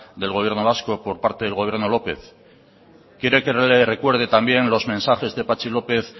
del gobierno vasco por parte del gobierno lópez quiere que le recuerde también los mensajes de patxi lópez